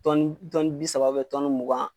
bi saba mugan.